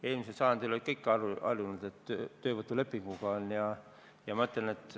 Eelmisel sajandil olid kõik harjunud, et on töövõtulepingud.